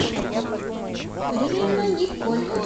рина николь